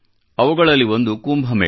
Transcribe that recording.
ಅವುಗಳಲ್ಲಿ ಒಂದು ಕುಂಭಮೇಳ